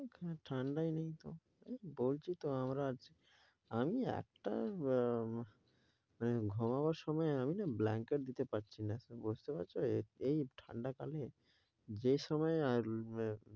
ঠান্ডাই নেই তো বলছি তো আমরা আজ আমি একটা ব~মানে ঘুমাবার সময় আমি না blanket দিতে পারছিনা বুঝতে পাড়ছ এই ঠান্ডা কালে যে সময় আর বে~